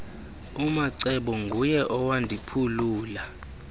umacebo nguye owandiphulula